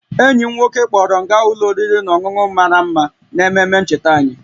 Enyi m nwoke kpọọrọ m gaa ụlọ oriri na ọṅụṅụ mara mma n'ememe ncheta anyị